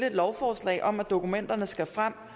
et lovforslag om at dokumenterne skal frem